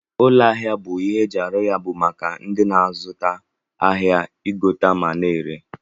Ụlọ ahia bu ihe eji alụ ya bu maka ndi n'azụ ahia igote ma na ere.